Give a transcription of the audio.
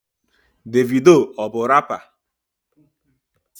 Davido ọ bu rapa?